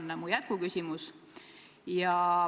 See on mu jätkuküsimus.